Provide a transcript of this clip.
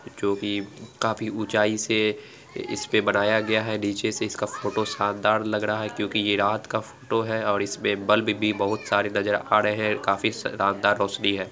जोकि काफी ऊंचाई से इसपे बनाया गया है नीचे से इसका फोटो शानदार लग रहा है क्योंकि ये रात का फोटो है और इसमें बल्ब भी बहुत सारे नजर आ रहे हैं। काफी शानदार रोशनी है।